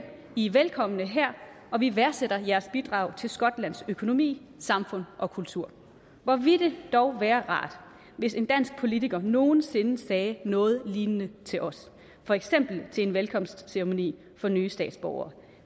i er velkomne her og vi værdsætter jeres bidrag til skotlands økonomi samfund og kultur hvor ville det dog være rart hvis en dansk politiker nogen sinde sagde noget lignende til os for eksempel til en velkomstceremoni for nye statsborgere